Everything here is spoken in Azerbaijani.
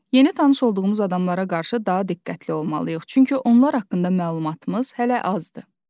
Yeni tanış olduğumuz adamlara qarşı daha diqqətli olmalıyıq, çünki onlar haqqında məlumatımız hələ azdır.